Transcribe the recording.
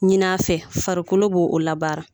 Ɲin'a fɛ farikolo b'o o labaara